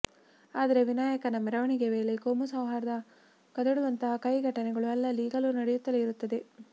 ಆದ್ರೆ ವಿನಾಯಕನ ಮೆರವಣಿಗೆ ವೇಳೆ ಕೋಮು ಸೌಹಾರ್ದ ಕದಡುವಂತಹ ಕಹಿ ಘಟನೆಗಳು ಅಲ್ಲಲ್ಲಿ ಈಗಲೂ ನಡೆಯುತ್ತಲೇ ಇರುತ್ತವೆ